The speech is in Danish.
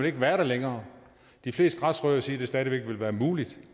ikke være der længere de fleste græsrødder siger at det stadig væk vil være muligt